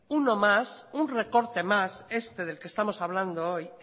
uno más un recorte más este del que estamos hablando hoy